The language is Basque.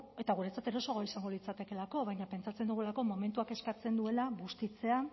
eta guretzat erosoagoa izango litzatekeelako baina pentsatzen dugulako momentuak eskatzen duela bustitzea